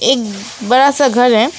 एक बड़ा सा घर है।